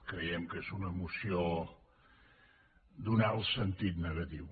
creiem que és una moció d’un alt sentit negatiu